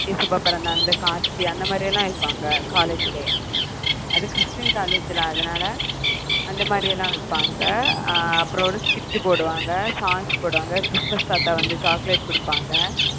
இயேசப்பா பிறந்த அந்த காட்சி அந்த மாதிரி எல்லாம் வெப்பாங்க college லயே அது கிறிஸ்டியன் college லே அதனால அந்த மாதிரி எல்லாம் வைப்பாங்க அப்புறம் ஒரு skit போடுவாங்க songs போடுவாங்க கிறிஸ்துமஸ் தாத்தா வந்து chocolate கொடுப்பாங்க